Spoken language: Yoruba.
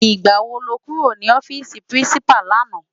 Nigbá wó lè kúró ni òfisi Pirinsipá làná?